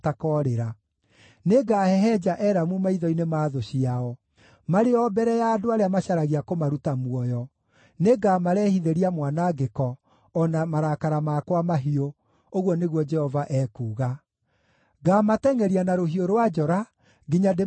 Nĩngahehenja Elamu maitho-inĩ ma thũ ciao, marĩ o mbere ya andũ arĩa macaragia kũmaruta muoyo; nĩngamarehithĩria mwanangĩko, o na marakara makwa mahiũ,” ũguo nĩguo Jehova ekuuga. “Ngaamatengʼeria na rũhiũ rwa njora nginya ndĩmaniine biũ.